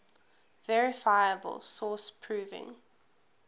verifiable source proving